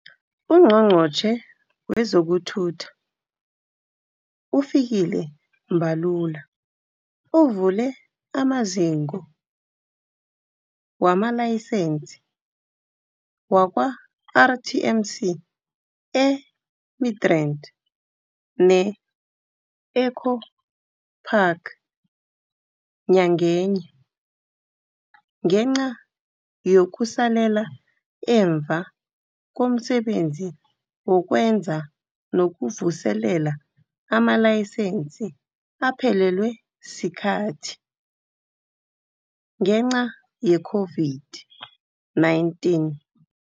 UNgqongqotjhe wezokuThutha uFikile Mbalula uvule amaziko wamalayisense wakwa-RTMC e-Midrand ne-Eco Park nyakenye, ngenca yokusalela emva komsebenzi wokwenza nokuvuselela amalayisense aphelelwe sikhathi, ngenca ye-COVID-19.